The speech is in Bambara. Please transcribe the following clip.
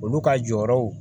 Olu ka jɔyɔrɔw